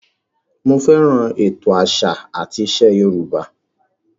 Mo fẹ́ràn ètò àṣà àti ìṣe Yorùbá